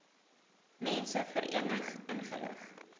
mense verenig ingelig